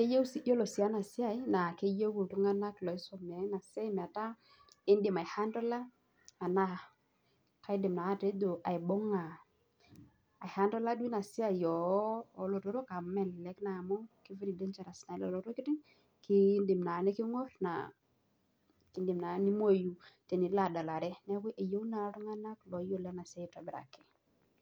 iyiolo sii ena esiai keyieu iltunganak oisomea kidim ai hantola ena siai. keyieu naa iltunganak ooyiolo ena siai aitobiraki.